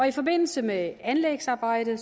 i forbindelse med anlægsarbejdet